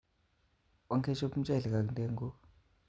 Onkechop mchelek ak ndeguk